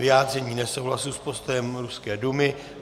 Vyjádření nesouhlasu s postojem ruské Dumy.